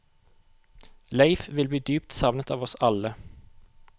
Leif vil bli dypt savnet av oss alle.